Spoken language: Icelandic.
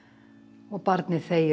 og barnið þegir og